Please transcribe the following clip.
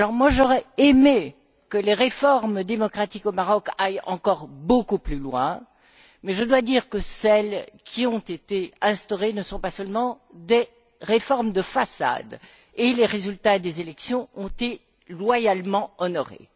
J'aurais aimé, pour ma part, que les réformes démocratiques au Maroc aillent encore beaucoup plus loin mais je dois dire que celles qui ont été instaurées ne sont pas seulement des réformes de façade et les résultats des élections ont été loyalement honorés.